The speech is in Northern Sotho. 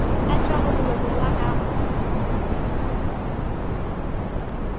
a tšwago molomong wa gago